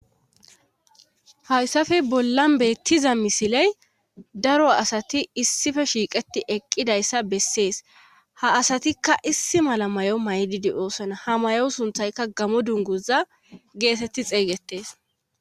Hayssafe bollan beettiza misiley daro asati issife shiiqeti eqqidayssa bessees ha asatikka issi mala may7o maydidioosona ha mayo sunthayka gamo dunguza geetetti xeeygettees.